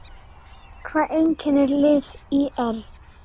Hvað einkennir lið ÍR?